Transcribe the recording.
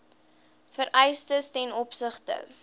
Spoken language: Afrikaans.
vereistes ten opsigte